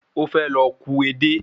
Ó fẹ́ lọ ku edé